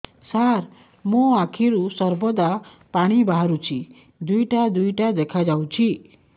ସାର ମୋ ଆଖିରୁ ସର୍ବଦା ପାଣି ବାହାରୁଛି ଦୁଇଟା ଦୁଇଟା ଦେଖାଯାଉଛି